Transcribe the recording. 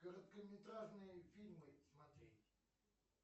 короткометражные фильмы смотреть